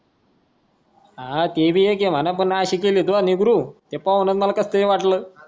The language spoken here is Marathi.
हा ते भी आहे म्हणा पण अशी केली तू निगरू की पाहूनच मला कस तरी वाटल.